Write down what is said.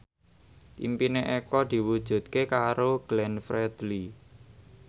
impine Eko diwujudke karo Glenn Fredly